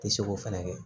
Ti se k'o fɛnɛ kɛ